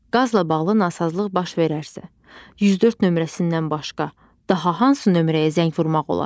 Qazla bağlı nasazlıq baş verərsə, 104 nömrəsindən başqa, daha hansı nömrəyə zəng vurmaq olar?